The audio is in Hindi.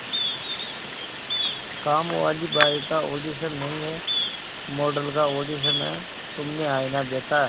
कामवाली बाई का ऑडिशन नहीं है मॉडल का ऑडिशन है तुमने आईना देखा है